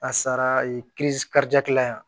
A sara yan